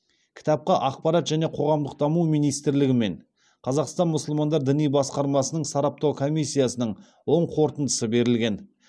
кітапқа ақпарат және қоғамдық даму министрлігі мен қазақстан мұсылмандар діни басқармасының сараптау комиссиясының оң қорытындысы берілген